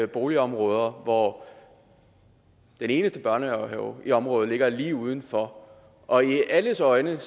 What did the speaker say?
boligområder hvor den eneste børnehave i området ligger lige udenfor og i alles øjne